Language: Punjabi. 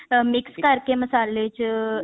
mix ਕਰਕੇ ਮਸਲੇ ਚ